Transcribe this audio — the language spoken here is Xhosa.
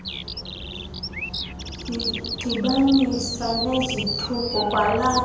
zidibanise nezithuko kwalapho